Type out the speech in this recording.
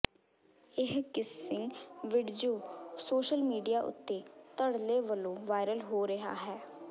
ਇਹ kissing video social media ਉੱਤੇ ਧੜੱਲੇ ਵਲੋਂ ਵਾਇਰਲ ਹੋ ਰਿਹਾ ਹੈ